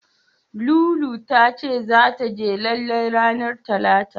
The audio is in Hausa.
Lulu ta ce zata je lalle ranar Talata.